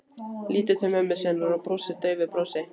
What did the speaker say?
Lítur til mömmu sinnar og brosir daufu brosi.